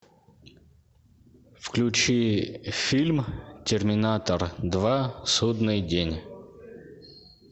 включи фильм терминатор два судный день